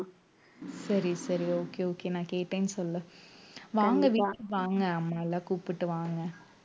சரி சரி okay okay நான் கேட்டேன்னு சொல்லு வாங்க வீட்~ வாங்க அம்மா எல்லாம் கூப்பிட்டு வாங்க